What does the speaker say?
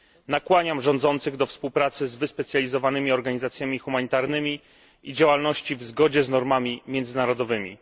Nakłaniam rządzących do współpracy z wyspecjalizowanymi organizacjami humanitarnymi i do działalności w zgodzie z normami międzynarodowymi.